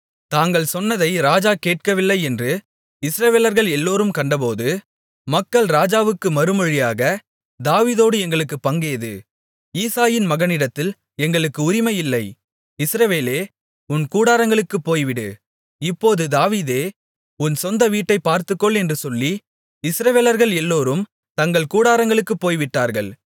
தாங்கள் சொன்னதை ராஜா கேட்கவில்லை என்று இஸ்ரவேலர்கள் எல்லோரும் கண்டபோது மக்கள் ராஜாவுக்கு மறுமொழியாக தாவீதோடு எங்களுக்குப் பங்கேது ஈசாயின் மகனிடத்தில் எங்களுக்கு உரிமை இல்லை இஸ்ரவேலே உன் கூடாரங்களுக்குப் போய்விடு இப்போது தாவீதே உன் சொந்த வீட்டைப் பார்த்துக்கொள் என்று சொல்லி இஸ்ரவேலர்கள் எல்லோரும் தங்கள் கூடாரங்களுக்குப் போய்விட்டார்கள்